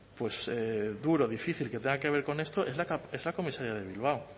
duro difícil que tenga que ver con esto es la comisaría de bilbao